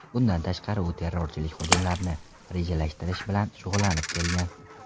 Bundan tashqari, u terrorchilik hujumlarini rejalashtirish bilan shug‘ullanib kelgan.